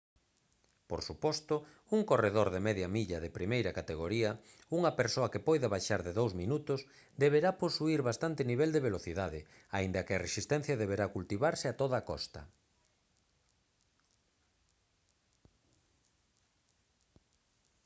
por suposto un corredor de media milla de primeira categoría unha persoa que poida baixar de dous minutos deberá posuír bastante nivel de velocidade aínda que a resistencia deberá cultivarse a toda costa